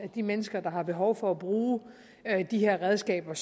de mennesker der har behov for at bruge de her redskaber og